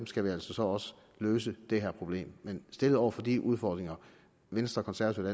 skal vi altså så også løse det her problem stillet over for de udfordringer venstre konservative